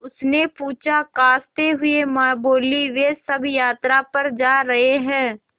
उसने पूछा खाँसते हुए माँ बोलीं वे सब यात्रा पर जा रहे हैं